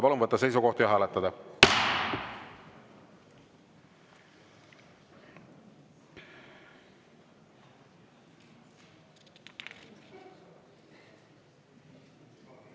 Palun võtta seisukoht ja hääletada!